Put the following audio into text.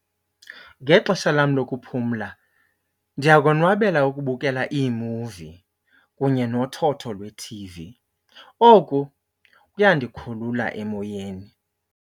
Ngexesha lam lokuphumla ndiyakonwabela ukubukela iimuvi kunye nothotho lwe-T_V. Oku kuyandikhulula emoyeni.